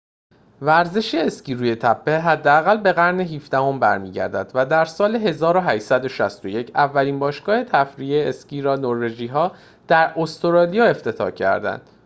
ورزش اسکی روی تپه حداقل به قرن ۱۷ ام برمی‌گردد و در سال ۱۸۶۱ اولین باشگاه تفریحی اسکی را نروژی‌ها در استرالیا افتتاح کردند